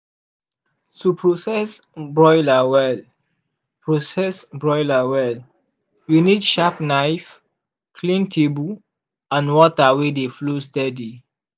to process broiler well process broiler well you need sharp knife clean table and water wey dey flow steady.